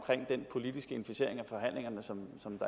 den politiske inficering af forhandlingerne som